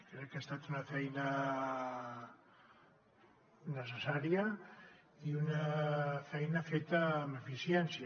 crec que ha estat una feina necessària i una feina feta amb eficiència